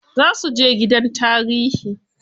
Za suje gidan tarihi.